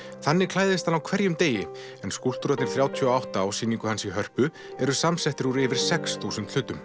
þannig klæðist hann á hverjum degi en skúlptúrarnir þrjátíu og átta á sýningu hans í Hörpu eru samsettir úr yfir sex þúsund hlutum